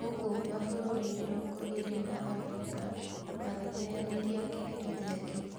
Gũkũ mabũrũri mĩrongo ĩrĩ ma Afrika magĩteyanĩria kĩherithia kĩu.